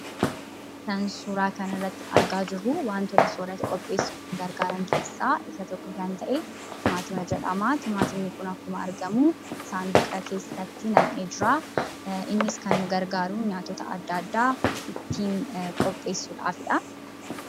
Kan suuraa kanarratti argaa jirru wantoota soorata qopheessuf nu gargaraan keesaa isa tokko kan ta'e timaatimaa jedhama. Timaatimni kun akkuma argamu sanduuqa keessatti naammee jira. Innis kan nu gargaaru nyaatoota addaa, addaa ittin qopheessufidha.